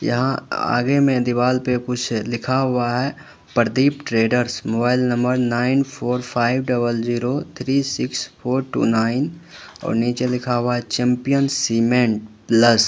यहां आगे में दीवाल पे कुछ लिखा हुआ है Pradeep traders mobile number nine four double zero three six four two nine और नीचे लिखा हुआ चैंपियन सीमेंट प्लस --